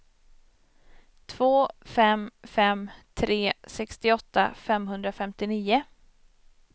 två fem fem tre sextioåtta femhundrafemtionio